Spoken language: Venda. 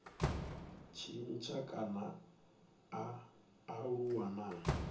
tshintsha kana a aluwa na